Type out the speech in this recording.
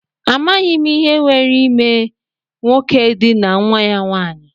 Amaghị m ihe nwere ime nwoke edinaa nwa ya nwanyị.